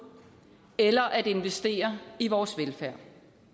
eller at investere i vores velfærd